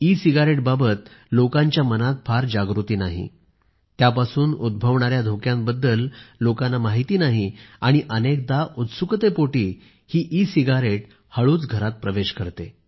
E सिगारेटबाबत लोकांच्या मनात फार जागृती नाही त्यापासून उद्भवणाऱ्या धोक्याबद्दल लोकांना माहिती नाही आणि अनेकदा उत्सुकतेपोटी ही सिगारेट हळूच घरात प्रवेश करते